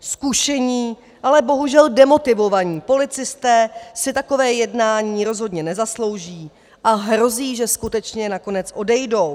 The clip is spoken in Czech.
Zkušení, ale bohužel demotivovaní policisté si takové jednání rozhodně nezaslouží a hrozí, že skutečně nakonec odejdou.